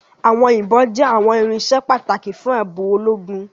Àwọn ibon jẹ àwọn irinṣẹ́ pàtàkì fún ààbò ológun